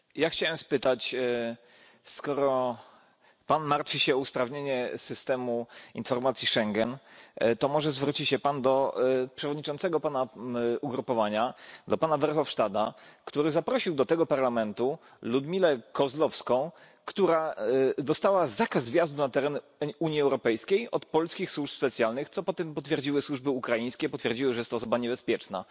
Chciałem spytać, skoro Pan martwi się o usprawnienie systemu informacji Schengen, to może zwróci się Pan do przewodniczącego Pana ugrupowania, pana Verhofstadta, który zaprosił do tego Parlamentu Ludmiłę Kozłowską, która dostała zakaz wjazdu na teren Unii Europejskiej od polskich służb specjalnych, co potem potwierdziły służby ukraińskie potwierdziły, że jest to osoba niebezpieczna.